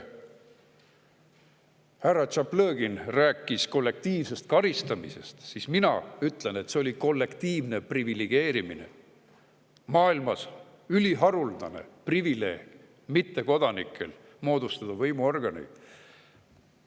Härra Tšaplõgin rääkis kollektiivsest karistamisest, aga mina ütlen, et see on kollektiivne privilegeerimine: mittekodanikele maailmas üliharuldane privileeg moodustada võimuorganeid.